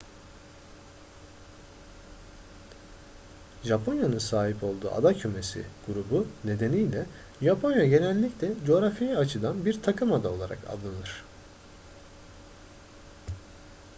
japonya'nın sahip olduğu ada kümesi/grubu nedeniyle japonya genellikle coğrafi açıdan bir takımada olarak anılır